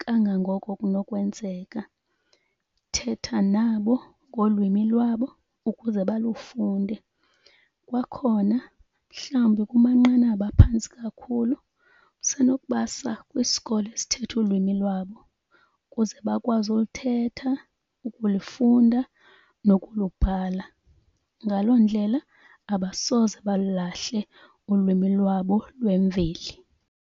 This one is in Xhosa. kangangoko kunokwenzeka. Thetha nabo ngolwimi lwabo ukuze balufunde. Kwakhona mhlawumbi kumanqanaba aphantsi kakhulu usenokubasa kwisikolo esithetha ulwimi lwabo ukuze bakwazi uluthetha, ukulifunda, nokulubhala. Ngalo ndlela abasoze balulahle ulwimi lwabo lwemveli.